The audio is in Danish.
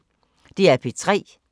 DR P3